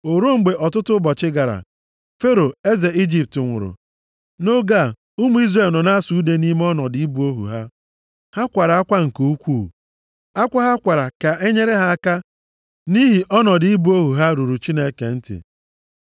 O ruo, mgbe ọtụtụ ụbọchị gara, Fero eze Ijipt nwụrụ. Nʼoge a, ụmụ Izrel nọ na-asụ ude nʼime ọnọdụ ịbụ ohu ha. Ha kwara akwa nke ukwuu. Akwa ha kwara ka e nyere ha aka nʼihi ọnọdụ ịbụ ohu ha ruru Chineke ntị.